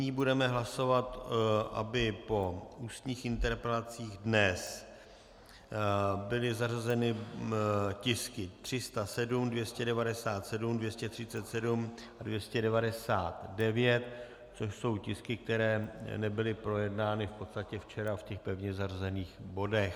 Nyní budeme hlasovat, aby po ústních interpelacích dnes byly zařazeny tisky 307, 297, 237 a 299, což jsou tisky, které nebyly projednány v podstatě včera v těch pevně zařazených bodech.